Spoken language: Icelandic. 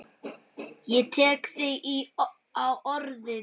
Ég tek þig á orðinu!